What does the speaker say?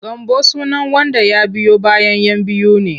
Gambo sunan wanda ya biyo bayan 'yan biyu ne.